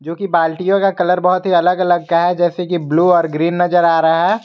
जोकि बाल्टीयों का कलर बहुत ही अलग अलग का है जैसे कि ब्लू और ग्रीन नजर आ रहा है।